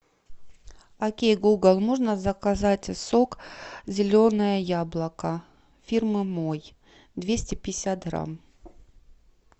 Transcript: окей гугл можно заказать сок зеленое яблоко фирмы мой двести пятьдесят грамм